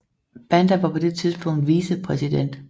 Banda var på det tidspunkt vicepræsident